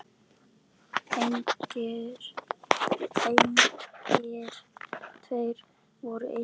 Engir tveir voru eins.